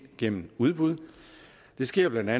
gennem udbud det sker bla